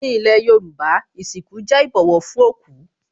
Ní ilé Yorùbá, ìsìnkú jẹ́ ìbọ̀wọ̀ fún òkú